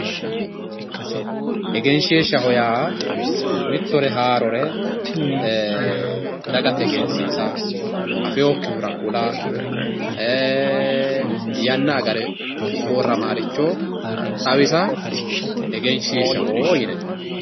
egenshiishshaho yaa mittore haarore dagate egensiisa afiyookkihura kula yanna agare sorramaaricho xawisa egenshiishshaho yinayi